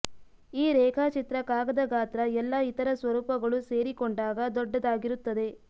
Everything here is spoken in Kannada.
ಈ ರೇಖಾಚಿತ್ರ ಕಾಗದ ಗಾತ್ರ ಎಲ್ಲಾ ಇತರ ಸ್ವರೂಪಗಳು ಸೇರಿಕೊಂಡಾಗ ದೊಡ್ಡದಾಗಿರುತ್ತದೆ